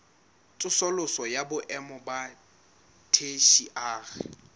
tsosoloso ya boemo ba theshiari